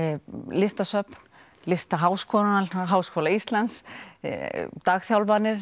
listasöfn Listaháskólann og Háskóla Íslands